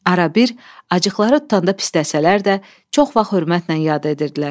Arabir acıqları tutanda pisləsələr də, çox vaxt hörmətlə yad edirdilər.